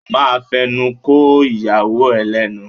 O ma fẹnu ko ìyàwó ẹ lẹ́nu